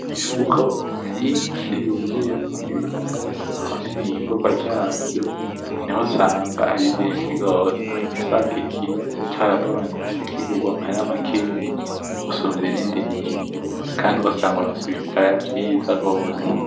Imifuko myinshi yuzuyemwo ibiraya, aho nimwiyimvurwa ryavyo naho usanga ari vyinshi gose aho uca usanga ikiro caragabanutse kigurwa amahera makeyi gusumvya ibindi gihe Kandi ugasanga uronse ibiraya vyiza gose .